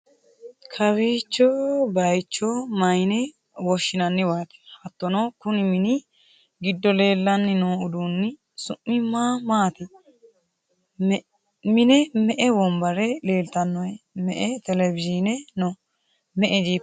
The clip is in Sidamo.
kawicho bayicho mayyii'ne woshhsinanniwaati? hattono, konni mini giddo leellanni noo uduunni su'mi ma maati? mine me''e wonbare leeltannohe? me'e televiyii'ne no?me'e jipaase no ?